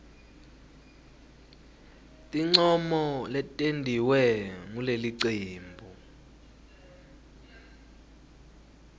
tincomo letentiwe ngulelicembu